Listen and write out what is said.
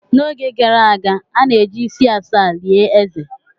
N'oge gara aga, a na-eji isi asaa lie eze.